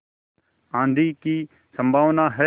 आँधी की संभावना है